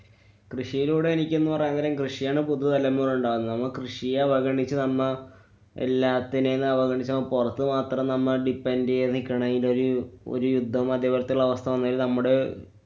കൃഷിയിലൂടെ എനിക്കെന്നു പറയാന്‍ നേരം കൃഷിയാണ് പുതു തലമുറ ഉണ്ടാവുന്നെ. നമ്മ കൃഷിയെ അവഗണിച്ചു നമ്മ എല്ലാത്തിനെയും അവഗണിച്ച പൊറത്തു മാത്രം നമ്മ depend ചെയ്തു നിക്കണെലൊരു ഒരു യുദ്ധം അതെപോലത്തുള്ള അവസ്ഥവന്നാല്‍ നമ്മടെ